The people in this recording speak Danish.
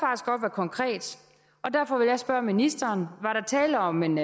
konkret og derfor vil jeg spørge ministeren var der tale om en